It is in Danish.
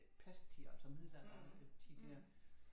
Pesttid altså middelalderen øh tid der